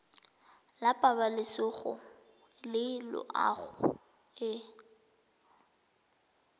la pabalesego le loago e